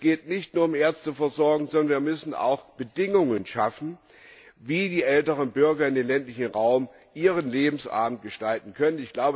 Es geht nicht nur um Ärzteversorgung, sondern wir müssen auch Bedingungen schaffen, wie die älteren Bürger im ländlichen Raum ihren Lebensabend gestalten können.